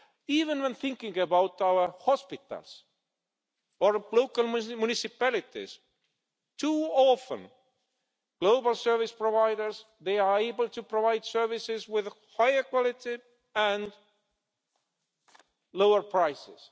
Even when thinking about our hospitals or local municipalities, too often global service providers are able to provide services with higher quality at lower prices.